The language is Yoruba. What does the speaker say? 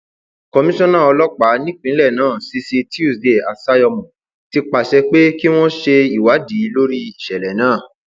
komisanna ọlọpàá nípìnlẹ náà cc tuesday assayọmọ ti pàṣẹ pé kí wọn ṣe ìwádìí lórí ìṣẹlẹ náà